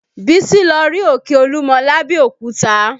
Bísí lọ rí òkè Olúmọ lábẹ́òkúta